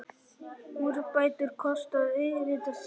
Úrbætur kosta auðvitað sitt.